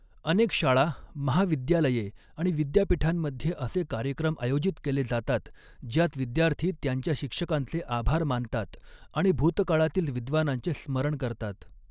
अनेक शाळा, महाविद्यालये आणि विद्यापीठांमध्ये असे कार्यक्रम आयोजित केले जातात ज्यात विद्यार्थी त्यांच्या शिक्षकांचे आभार मानतात आणि भूतकाळातील विद्वानांचे स्मरण करतात.